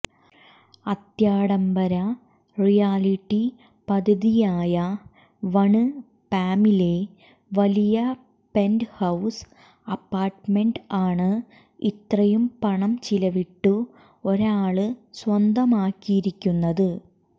അത്യാഡംബര realty പദ്ധതിയായ one പാമിലെ വലിയ പെന്റ്ഹൌസ് അപ്പാര്ട്ട്മെന്റ് ആണ് ഇത്രയും പണം ചിലവിട്ടു ഒരാള് സ്വന്തമാക്കിയിരിക്കുന്നത്